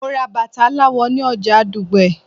Mo ra bàtà aláwọ̀ ni oja Dugbe